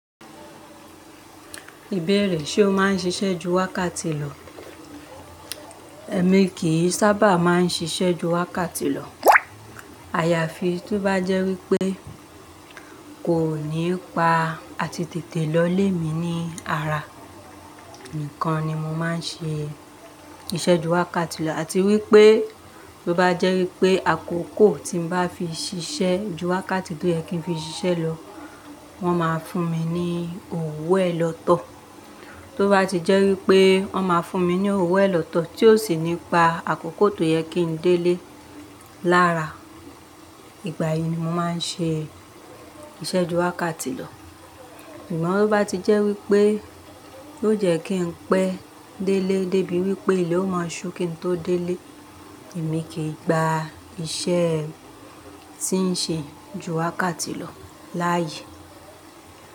Ìbéèrè ṣe o máa ń ṣiṣẹ́ ju wákàtí lọ? Ẹ̀mi kì í sábà máa ń ṣiṣẹ́ ju wákàtí lọ. Àyàfi tó bá jẹ́ wípé kò ní pa àti tètè lọ ilé mi ní ara nìkan ni mo máa ń ṣe iṣẹ́ ju wákàtí lọ. Àti wípé tó bá jẹ́ wípé àkókò tí mo bá fi ṣiṣẹ́ ju wákàtí tó yẹ kí n fi ṣiṣẹ́ lọ, wọ́n máa fún mi ní òwo ẹ lọ́tọ̀. Tó bá ti jẹ́ wípé wọ́n máa fún mi ní òwú ẹ lọ́tọ̀ tí yóò sì ní pa àkókò tó yẹ kí n délé lára. Ìgbà yìí ni mo máa ń ṣe iṣẹ́ ju wákàtí lọ. Amọ̀ bí bá ti jẹ́ wípé yoo jẹ kí n pẹ́ délé débi wípé ilẹ ó máa ṣú kí n tó délé, èmi kì í gba iṣẹ́ tí ń ṣe ju wákàtí lọ láàyè.